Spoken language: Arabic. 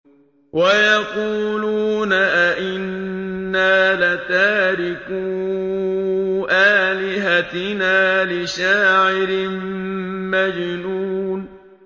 وَيَقُولُونَ أَئِنَّا لَتَارِكُو آلِهَتِنَا لِشَاعِرٍ مَّجْنُونٍ